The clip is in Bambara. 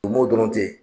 O mɔ dɔrɔn ten